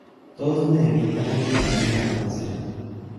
Tos nee kit age neyoe bik alak kosirin?